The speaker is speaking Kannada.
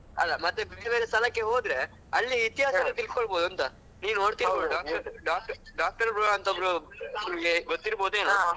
ಅಲ್ಲ ಮತ್ತೆ ಬೇರೆ ಬೇರೆ ಸ್ಥಳಕ್ಕೆ ಹೋದ್ರೆ ಅಲ್ಲಿ ಇತಿಹಾಸ ತಿಳ್ಕೊಲಬಹದು ಅಂತ ನೀವ್ ನೋಡ್ತಿರಬಹದು ಡಾಕ್~ Doctor bro ಅಂತ ಒಬ್ರು ನಿಮಗೆ ಗೊತ್ತಿರಬಹುದು ಯೇನಾ